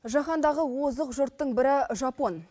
жахандағы озық жұрттың бірі жапон